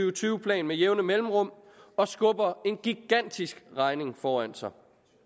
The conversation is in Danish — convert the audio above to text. og tyve plan med jævne mellemrum og skubber en gigantisk regning foran sig